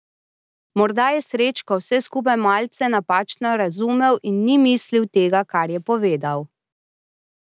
Morda je Srečko vse skupaj malce napačno razumel in ni mislil tega, kar je povedal.